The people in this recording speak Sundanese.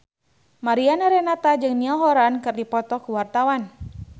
Mariana Renata jeung Niall Horran keur dipoto ku wartawan